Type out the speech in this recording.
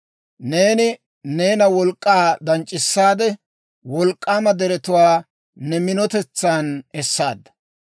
Neeni neena wolk'k'aa danc'c'isaade; wolk'k'aama deretuwaa ne minotetsan essaadda.